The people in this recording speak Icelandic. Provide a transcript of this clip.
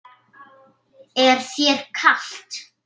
Er þér kalt?